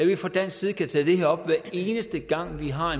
vi fra dansk side kan tage det her op hver eneste gang vi har